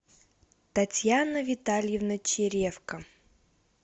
татьяна витальевна черевко